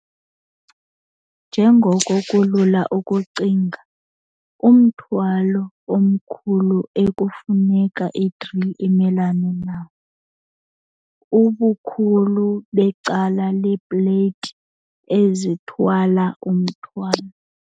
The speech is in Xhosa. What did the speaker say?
Njengoko kulula ukucinga, umthwalo omkhulu ekufuneka i-grill imelane nayo, ubukhulu becala leeplate ezithwala umthwalo.